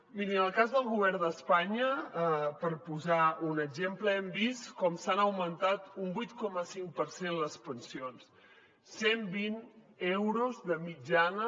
mirin en el cas del govern d’espanya per posar ne un exemple hem vist com s’han augmentat un vuit coma cinc per cent les pensions cent vint euros de mitjana